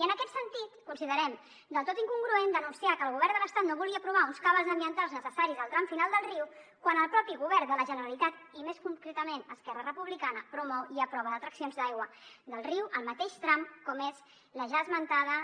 i en aquest sentit considerem del tot incongruent denunciar que el govern de l’estat no vulgui aprovar uns cabals ambientals necessaris al tram final del riu quan el mateix govern de la generalitat i més concretament esquerra republicana promou i aprova detraccions d’aigua del riu al mateix tram com és la ja esmentada